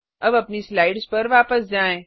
अब अपनी स्लाइड्स पर वापस जाएँ